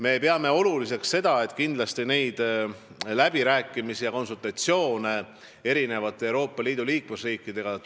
Me peame oluliseks jätkata läbirääkimisi ja konsultatsioone Euroopa Liidu eri riikidega.